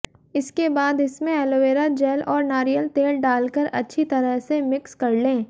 इसके बाद इसमें एलोवेरा जैल और नारियल तेल डालकर अच्छी तरह से मिक्स कर लें